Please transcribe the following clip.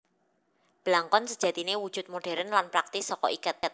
Blangkon sejatiné wujud modhèrn lan praktis saka iket